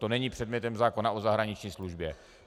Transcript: To není předmětem zákona o zahraniční službě.